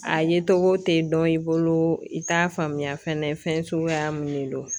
A ye togo tɛ dɔn i bolo i t'a faamuya fɛnɛ fɛn suguya mun de do